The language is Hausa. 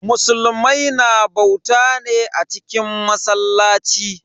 Musulmai na bauta ne a cikin masallaci.